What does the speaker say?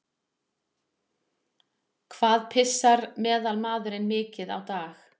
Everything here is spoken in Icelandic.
Hvað pissar meðalmaðurinn mikið á dag?